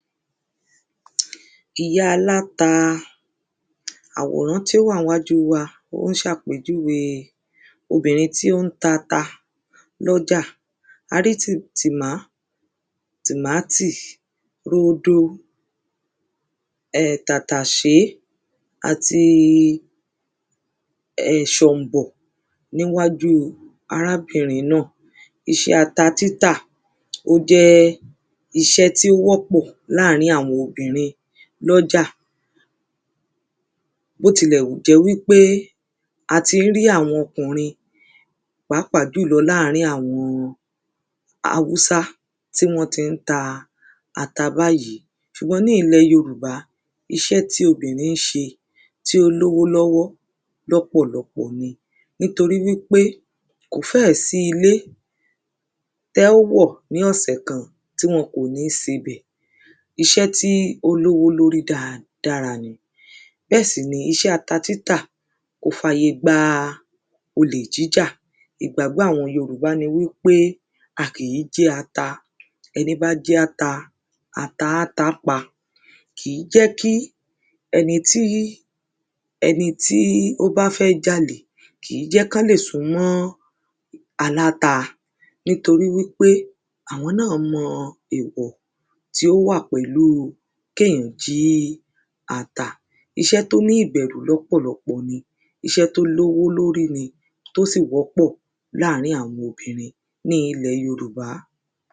ìyá aláta. Àwòrán to wà ní wájú wa o n ṣàpèjuwé obìnrín tí o n ta ata lọ́jà. A rí tìmátì, rodo, tàtàṣé, ati ṣọ̀mbọ̀ ní wájú arábìnrín náà. iṣẹ́ ata títà o jẹ́ iṣẹ́ ti o wọ́pọ̀ láàrín awọn obìnrín lọ́jà bó tí lẹ̀ù jẹ́ wi pe atí n rí awọn ọkùnrín pàápàá julọ́ láàrín awọn Hausa tí wọn tí n ta ata bayìí, ṣùgbọ́n ní ìlẹ̀ yorùbá iṣẹ́ tí obìnrín n ṣe tí o lówó lọ́wọ́ lọ́pọ̀lopọ̀ ni nítorí wi pe kò fẹ́ si ilé tẹ́ o wọ̀ ní òṣẹ̀ kan tí wọn kò ni sèbẹ̀. iṣẹ́ ti olowo lórí dáadára ni bẹ́ sì ni iṣẹ́ ata títà kò fàyè gba olè jíjà ìgbàgbọ́ awọn yorùbá ni wi pe a kìí n jí ata, ẹní bá ji ata, ata á tá pa. kìí jẹ́ kí ẹní tí ẹní tí o ba fẹ́ jálè kìí jẹ́ kan le sún mọ́ aláta nitori wi pe awọn nà mọ èwọ̀ ti o wà pẹ̀lú kènyàn jí ata ata, iṣẹ́ to ní ìbẹ̀rù lọ́pọ̀lopọ̀ ni iṣẹ́ to lówó lórí ní tó si wọ́pọ̀ láàrín awọn obìnrín ní ilẹ̀ yorùbá